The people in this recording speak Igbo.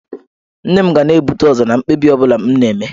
Nne m ga na-ebute ụzọ na mkpebi ọ bụla m na-eme.